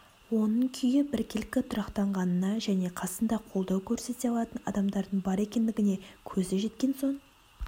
оның күйі біркелкі тұрақтанғанына және қасында қолдау көрсете алатын адамдардың бар екендігіне көзі жеткен соң